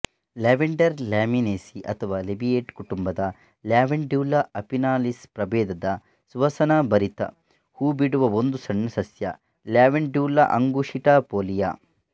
lavender Lamiaceae ಅಥವಾ Labiatae ಕುಟುಂಬದ Lavandula officinalis ಪ್ರಭೇದದ ಸುವಾಸನಾಭರಿತ ಹೂಬಿಡುವ ಒಂದು ಸಣ್ಣ ಸಸ್ಯ ಲ್ಯಾವೆಂಡ್ಯುಲಾ ಅಂಗುಷಿಟಪೋಲಿಯ